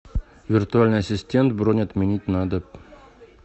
виртуальный ассистент бронь отменить надо